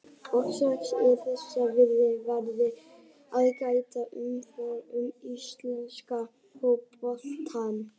Og strax er þessa viðhorfs farið að gæta í umfjöllun um íslenska fótboltann.